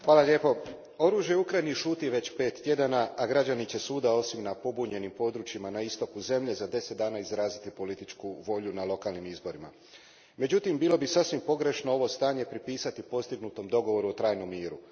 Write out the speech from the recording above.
Gospođo predsjednice, oružje u Ukrajini šuti već pet tjedana, a građani će svuda, osim na pobunjenim područjima na istoku zemlje, za deset dana izraziti političku volju na lokalnim izborima. Međutim, bilo bi sasvim pogrešno ovo stanje pripisati postignutom dogovoru o trajnom miru.